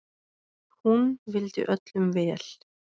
Hún vildi öllum vel.